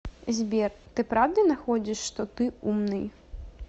сбер ты правда находишь что ты умный